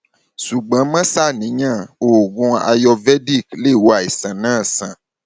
ṣùgbọn má ṣàníyàn oògùn ayurvedic lè wo àìsàn náà sàn